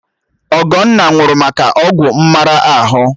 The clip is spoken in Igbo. Ọgọnna nwụrụ maka ọgwụ mmara ahụ